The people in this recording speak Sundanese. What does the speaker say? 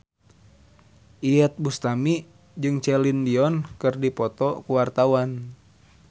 Iyeth Bustami jeung Celine Dion keur dipoto ku wartawan